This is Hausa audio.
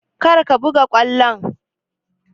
Kar ka buga ƙwallon!